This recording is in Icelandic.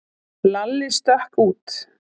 Lalli stökk út.